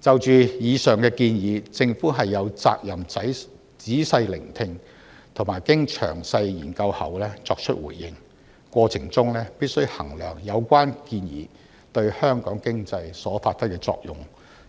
就着以上建議，政府有責任仔細聆聽，並經詳細研究後作出回應，過程中必須衡量有關建議對香港經濟所發揮的作用，